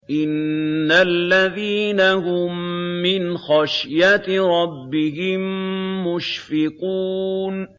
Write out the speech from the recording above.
إِنَّ الَّذِينَ هُم مِّنْ خَشْيَةِ رَبِّهِم مُّشْفِقُونَ